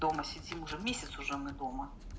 дома сидим уже месяц уже мы дома